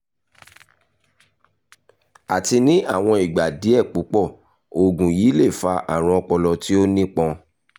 àti ní àwọn ìgbà díẹ̀ púpọ̀ oògùn yìí lè fa àrùn ọpọlọ tí ó nípọn